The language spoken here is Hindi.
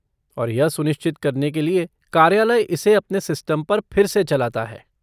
और यह सुनिश्चित करने के लिए कार्यालय इसे अपने सिस्टम पर फिर से चलाता है।